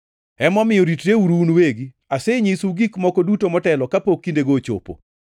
Emomiyo ritreuru un uwegi; asenyisou gik moko duto motelo kapok kindego ochopo.